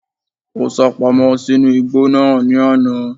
Ó sápamọ́ sínú igbó náà ní àná